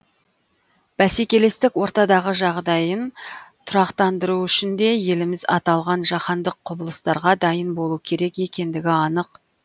бәсекелестік ортадағы жағдайын тұрақтандыру үшін де еліміз аталған жаһандық құбылыстарға дайын болу керек екендігі анық